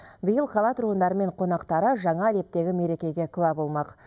биыл қала тұрғындары мен қонақтары жаңа лептегі мерекеге куә болмақ